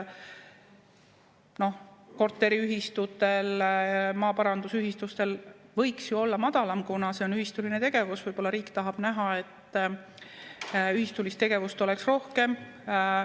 No korteriühistutel, maaparandusühistutel võiks ju olla madalam, kuna see on ühistuline tegevus, võib-olla riik tahab näha, et ühistulist tegevust oleks rohkem.